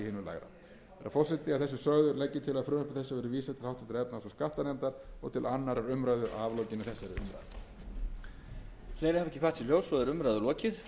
virðulegi forseti að þessu sögðu legg ég til að frumvarpi þessu verði vísað til háttvirtrar efnahags og skattanefndar og til annarrar umræðu að aflokinni þessari umræðu